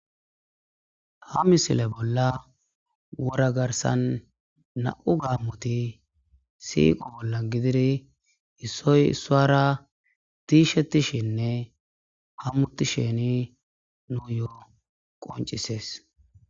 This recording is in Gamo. ha misile bolla wora garsan na7u gaammoti siiqo bolla gidiri issoy issora diishetishenne hammutisheni nu yo7o qoncisees